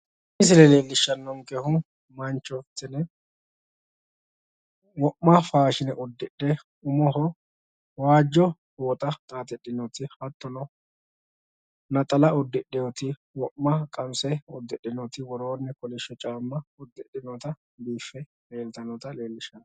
Tini misile leellishshannonkehu mancho tini wo'ma faashine uddidhe umoho waajjo shaashe usudhite aanaho naxala uddidhe lekkate kolishsho caamma wodhitinota leellishshanno misileeti.